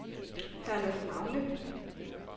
Herlufmagle